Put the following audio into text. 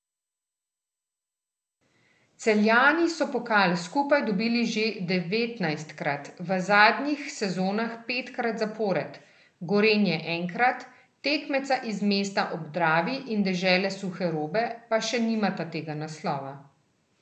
Celjani so pokal skupaj dobili že devetnajstkrat, v zadnjih sezonah petkrat zapored, Gorenje enkrat, tekmeca iz mesta ob Dravi in dežele suhe robe pa še nimata tega naslova.